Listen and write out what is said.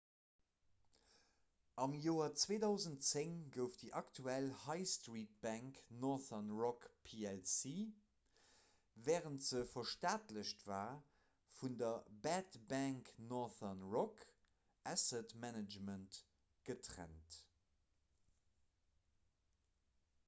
am joer 2010 gouf déi aktuell high-street-bank northern rock plc wärend se verstaatlecht war vun der 'bad bank' northern rock asset management getrennt